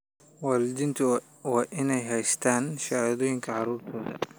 Waalidiintu waa inay haystaan ??shahaadooyinka carruurtooda.